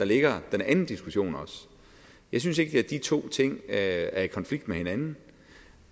ligger den anden diskussion jeg synes ikke at de to ting er i konflikt med hinanden